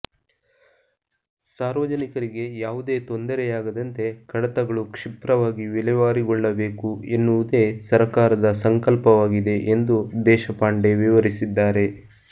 ಸಾರ್ವಜನಿಕರಿಗೆ ಯಾವುದೇ ತೊಂದರೆಯಾಗದಂತೆ ಕಡತಗಳು ಕ್ಷಿಪ್ರವಾಗಿ ವಿಲೇವಾರಿಗೊಳ್ಳಬೇಕು ಎನ್ನುವುದೇ ಸರಕಾರದ ಸಂಕಲ್ಪವಾಗಿದೆ ಎಂದು ದೇಶಪಾಂಡೆ ವಿವರಿಸಿದ್ದಾರೆ